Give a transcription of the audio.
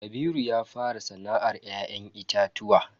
Kabiru ya fara sana'ar ya'yan itatuwa.